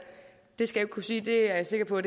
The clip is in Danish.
skal kunne sige det er jeg sikker på